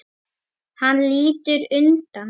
Hann lítur undan.